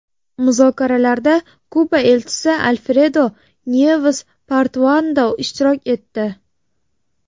Muzokaralarda Kuba Elchisi Alfredo Nyeves Portuando ishtirok etdi.